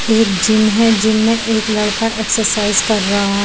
एक जिम है जिम में एक लड़का एक्सरसाइज कर रहा है ।